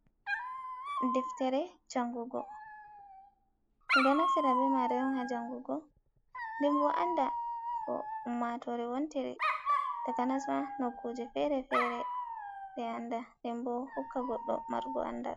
Deftere jangugo, ɗum ɗo naftira be mare on ha jangugo ndenbo anda ko ummatore wontiri takanas ma nokkuje fere fere ɓe anda den denbo hokka goɗɗo marugo andal.